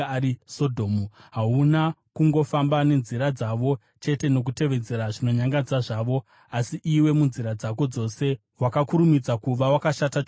Hauna kungofamba nenzira dzavo chete nokutevedzera zvinonyangadza zvavo, asi iwe munzira dzako dzose wakakurumidza kuva wakashata chose kupfuura ivo.